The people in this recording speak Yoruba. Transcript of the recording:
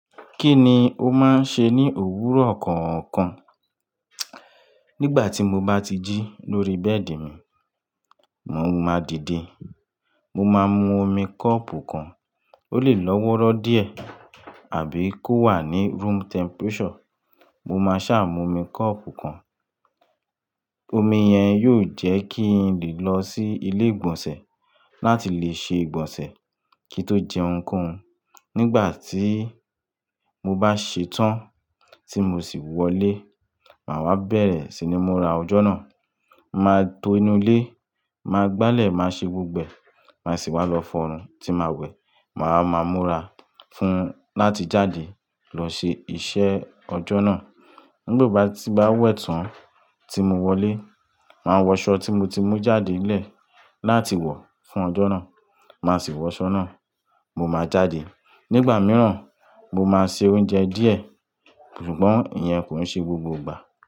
Kí ni o máa ń ṣe ní òwúrọ̀ kọ̀ọ̀kan? Nígbà tí mo bá ti jí lórí bẹ́ẹ̀dì mi, mo máa dìde. Mo máa mú omi kọ́ọ̀pù kan, ó lè lọ́wọ́rọ́ díẹ̀ àbí kó wà ní room temperature. Mo máa ṣá mú omi kọ́ọ̀pù kan. Omi yẹn yóò jẹ́ kí n lè lọ sí ilé ìgbọ̀nsẹ̀ láti lè ṣe ìgbọ̀nsẹ̀ kí n tó jẹun ohun koun Nígbà tí mo bá ṣetán tí mo sì wọlé, màá wá bẹ̀rẹ̀ sí ni múra ọjọ́ náà. Màá to inú ilé, màá gbálẹ̀, màá ṣe gbogbo e, màá sì wá lọ fọnu tí màá wẹ̀. Màá máa múra fún láti jáde lọ ṣe iṣẹ́ ọjọ́ náà. Nígbo o ba tí n bá wẹ̀ tán tí mo wọlé, màá wọṣọ tí mo ti mú jáde nlẹ̀ láti wọ̀ fún ọjọ́ náà, màá sì wọṣọ náà. Mo máa jáde. Nígbà mìíràn, mo máa ṣe oúnjẹ díẹ̀ ṣùgbọ́n ìyẹn kòin ṣe gbogbo ìgbà.